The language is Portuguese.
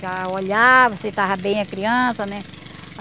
Já olhava se estava bem a criança, né.